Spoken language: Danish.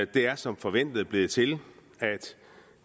det er som forventet blevet til at